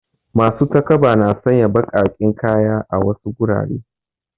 Masu takaba na sanya baƙaƙen kaya a wasu gurare.